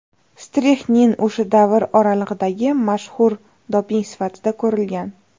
Strixnin o‘sha davr oralig‘idagi mashhur doping sifatida ko‘rilgan.